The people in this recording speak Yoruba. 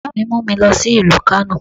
Bàbá mi mu mi lọ sí ìlú Kánò